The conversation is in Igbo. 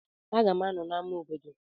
M ga-anọ na ama obodo.